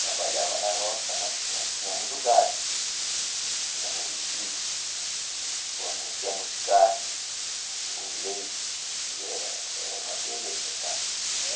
Trabalhava na roça, mas nós tínhamos o gado, tínhamos o retiro, fornecíamos carne, o leite, e era, era uma beleza, sabe? É?